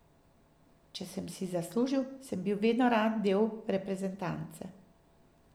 Če sem si zaslužil, sem bil vedno rad del reprezentance.